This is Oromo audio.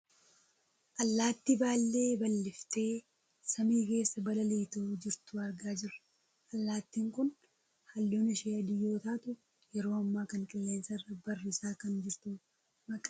Allaattii baallee balliftee samii keessa balali'aa jirtu argaa jirra. Allaattiin kun halluun ishee adii yoo taatu yeroo ammaa kan qilleensa irra barrisaa kan jirtudha. Maqaan allaattii kanaas sumburbuta jedhamuun kan beekkamtuudha.